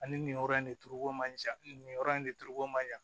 Ani nin yɔrɔ in de turuko man ca nin nin yɔrɔ in de turuko man ɲa